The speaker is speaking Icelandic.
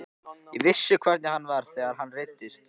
Ég vissi hvernig hann var þegar hann reiddist.